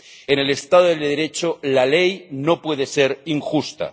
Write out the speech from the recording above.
En el Estado de Derecho la ley no puede ser injusta.